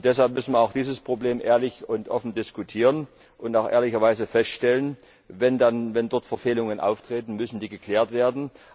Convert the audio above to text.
Deshalb müssen wir auch dieses Problem ehrlich und offen diskutieren und auch ehrlicherweise feststellen Wenn dort Verfehlungen auftreten, müssen sie geklärt werden.